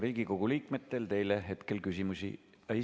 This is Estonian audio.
Riigikogu liikmetel teile hetkel küsimusi ...